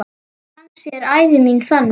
Kannski er ævi mín þannig.